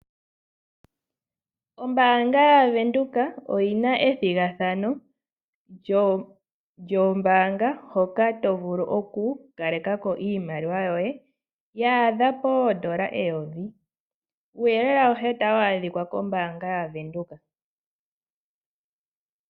Ombaanga yaVenduka oyi na ethigathano lyoombaanga hoka to vulu okukaleka ko iimaliwa yoye yaadha poodola eyovi. Uuyelele awuhe otawu adhika kombaanga yaVenduka.